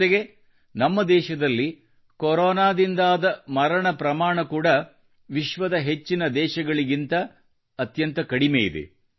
ಜೊತೆಗೆ ನಮ್ಮ ದೇಶದಲ್ಲಿ ಕೊರೊನಾದಿಂದಾದ ಮರಣ ಪ್ರಮಾಣ ಕೂಡ ವಿಶ್ವದ ಹೆಚ್ಚಿನ ದೇಶಗಳಿಗಿಂತ ಅತ್ಯಂತ ಕಡಿಮೆಯಿದೆ